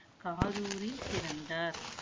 காதூரில் பிறந்தார்